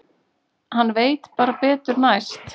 Hann veit bara betur næst.